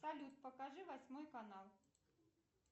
салют покажи восьмой канал